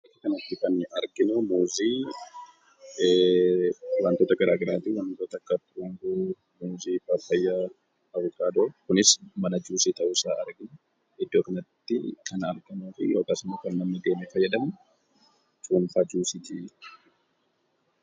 Iddoo kanatti kan nuyi arginu, wantoota garaagaraati. wantoota akka mangoo, buuzii, paappaayyaa, Abukaadoo, kunis Mana juusii ta'uu isaa argina. Iddoo kanatti kan argamu yookiin immoo kan namni itti fayyadamu cuunfaa juuziidha.